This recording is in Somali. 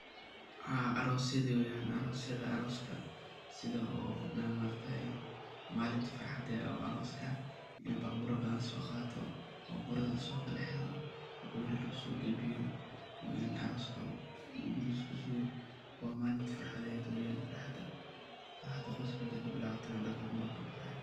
Aroosyada weeyan setha maaragtay malinta farxaada arooska oo babuura bathan soo Qaata oo babuurada laso kalxeeroh, kabadal lagu so kalbiyoh ee arooska marki lagu so kalbiyoh wa malinta farxathet weeyan farxaada Qooska kabilawathoh waye.